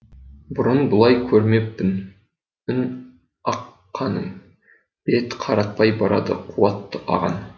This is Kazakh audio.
бұрын бұлай көрмеппін үн аққанын бет қаратпай барады қуатты ағын